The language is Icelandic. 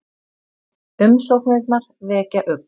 Umsóknirnar vekja ugg